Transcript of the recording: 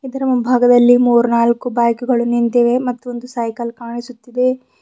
ಇದರ ಮುಂಭಾಗದಲ್ಲಿ ಮೂರ್ನಾಲ್ಕು ಬೈಕ್ ಗಳು ನಿಂತಿವೆ ಮತ್ತೊಂದು ಸೈಕಲ್ ಕಾಣಿಸುತ್ತಿದೆ.